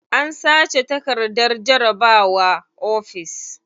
An sace takardar jarabawa ofis.